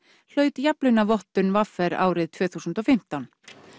hlaut jafnlaunavottun v r árið tvö þúsund og fimmtán